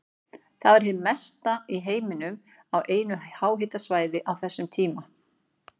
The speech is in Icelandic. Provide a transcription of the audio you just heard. Það var hið mesta í heiminum á einu háhitasvæði á þeim tíma.